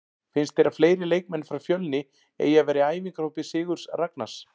Finnst þér að fleiri leikmenn frá Fjölni eigi að vera í æfingahópi Sigurðs Ragnars?